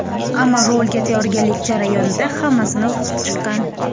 Ammo rolga tayyorgarlik jarayonida hammasini o‘qib chiqqan.